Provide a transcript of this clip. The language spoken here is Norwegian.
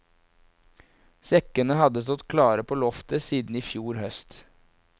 Sekkene hadde stått klare på loftet siden i fjor høst.